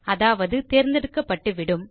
அதாவது தேர்ந்தெடுக்கப்பட்டுவிடும்